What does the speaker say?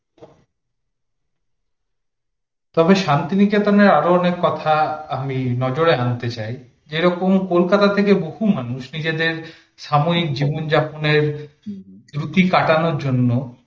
তবে শান্তিনিকেতনের আরো অনেক কথা, আমি নজরে আনতে চাই যেরকম কলকাতা থেকে বহু মানুষ নিজেদের সাময়িক জীবন যাপনের ছুটি কাটানোর জন্য